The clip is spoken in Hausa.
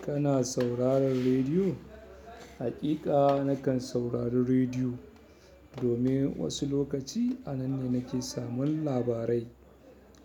Kana sauraron rediyo? Haƙiƙa na kan saurari rediyo domin wasu lokaci a nan ne na ke samun labarai,